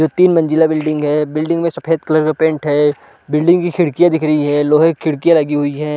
और तीन मंज़िला बिल्डिंग है बिल्डिंग में सफ़ेद कलर का पेंट है बिल्डिंग की खिड़कियाँ दिख रही है लोहे की खिड़कियाँ लगी हुई है ।